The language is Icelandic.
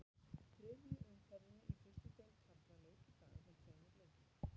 Þriðju umferðinni í fyrstu deild karla lauk í dag með tveimur leikjum.